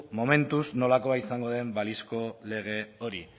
momentuz nolakoa izango den baliozko lege hori